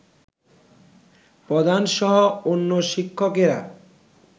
প্রধানসহ অন্য শিক্ষকেরা